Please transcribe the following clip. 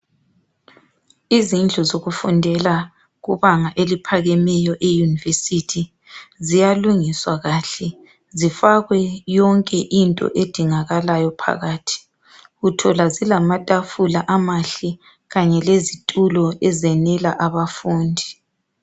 Izindlu zokufundela kubanga eliphakemeyo i university. Ziyalungiswa kahle zifakwe yonke into edingakalayo phakathi. Uthola zilamatafula amahle kanye lezitulo ezenela abafundi.